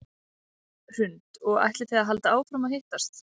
Hrund: Og ætlið þið að halda áfram að hittast?